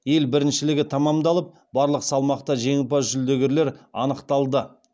ел біріншілігі тамамдалып барлық салмақта жеңімпаз жүлдегерлер анықталды